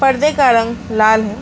पर्दे का रंग लाल है।